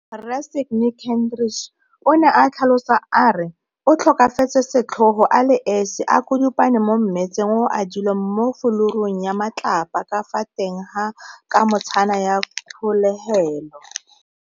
Rre Sydney Kentridge, o ne a tlhalosa a re o tlhokafetse setlhogo a le esi a kudupane mo mmetsheng o o adilweng mo fulurung ya matlapa ka fa teng ga kamotshana ya kgolegelo.